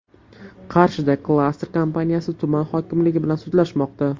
Qarshida klaster kompaniyasi tuman hokimligi bilan sudlashmoqda.